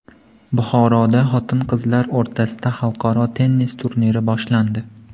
Buxoroda xotin-qizlar o‘rtasida xalqaro tennis turniri boshlandi.